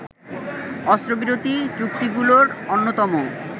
অস্ত্রবিরতি চুক্তিগুলোর অন্যতম